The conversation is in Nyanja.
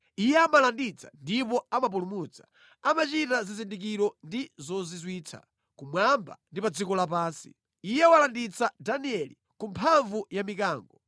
Iye amalanditsa ndipo amapulumutsa, amachita zizindikiro ndi zozizwitsa kumwamba ndi pa dziko lapansi. Iye walanditsa Danieli ku mphamvu ya mikango.”